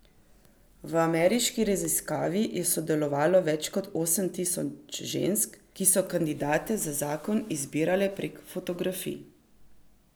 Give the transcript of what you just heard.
V ameriški raziskavi je sodelovalo več kot osem tisoč žensk, ki so kandidate za zakon izbirale prek fotografij.